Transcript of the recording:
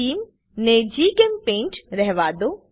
Theme ને જીચેમ્પેઇન્ટ રહેવાદો